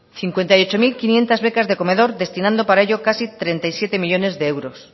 cincuenta y ocho mil quinientos becas de comedor destinando para ello casi treinta y siete millónes de euros